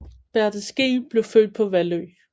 Berte Skeel blev født på Vallø